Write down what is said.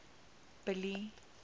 billy